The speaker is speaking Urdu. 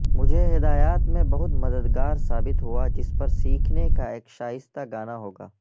مجھے ہدایات میں بہت مددگار ثابت ہوا جس پر سیکھنے کا ایک شائستہ گانا ہوگا